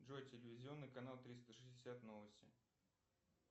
джой телевизионный канал триста шестьдесят новости